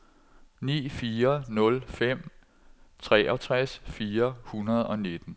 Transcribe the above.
ni fire nul fem treogtres fire hundrede og nitten